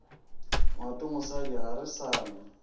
ngwatomosadi ga re sa na